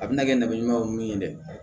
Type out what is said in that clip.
A bɛna kɛ nɛgɛ ɲuman ye min ye dɛ